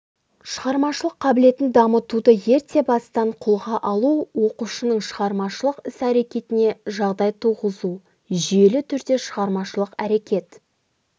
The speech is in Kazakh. шығармашылық қабілетін дамытуды ерте бастан қолға алу оқушының шығармашылық іс-әрекетіне жағдай туғызу жүйелі түрде шығармашылық әрекет